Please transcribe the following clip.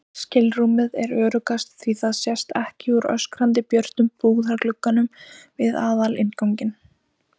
skilrúmið er öruggast því það sést ekki úr öskrandi björtum búðarglugganum við aðalinnganginn.